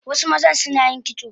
Wasu mazan Sunayin kitso